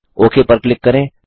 okay पर click करें